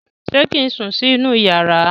ṣe kín sùn sí inú iyàrá?